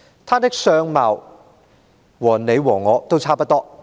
他的相貌和你和我都差不多。